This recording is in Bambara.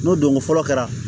N'o donko fɔlɔ kɛra